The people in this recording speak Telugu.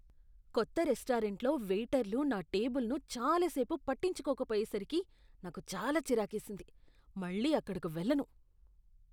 కొత్త రెస్టారెంట్లో వెయిటర్లు నా టేబుల్ను చాలా సేపు పట్టించుకోకపోయేసరికి నాకు చాలా చిరాకేసింది. మళ్ళీ అక్కడకి వెళ్ళను.